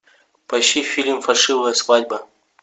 поищи фильм фальшивая свадьба